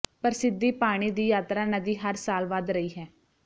ਪ੍ਰਸਿੱਧੀ ਪਾਣੀ ਦੀ ਯਾਤਰਾ ਨਦੀ ਹਰ ਸਾਲ ਵਧ ਰਹੀ ਹੈ